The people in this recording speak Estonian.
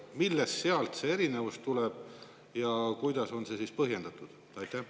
Millest see erinevus tuleb ja kuidas see on põhjendatud?